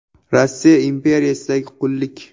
Rossiya imperiyasidagi qullik.